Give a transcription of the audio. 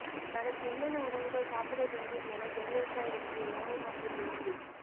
தனக்கு என்னென்ன உணவுகள் சாப்பிட வேண்டும் என ஜெயலலிதா எழுதிய உணவு பட்டியல் வெளியீடு